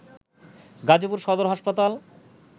গাজীপুর সদর হাসপাতাল